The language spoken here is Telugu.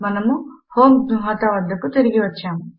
మనము homegnuhata వద్దకు తిరిగి వచ్చాము